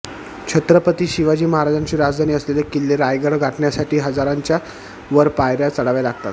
छत्रपती शिवाजी महाराजांची राजधानी असलेले किल्ले रायगड गाठण्यासाठी हजाराच्या वर पायऱ्या चढाव्या लागतात